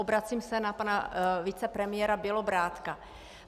Obracím se na pana vicepremiéra Bělobrádka.